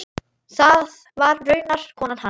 Það var raunar konan hans.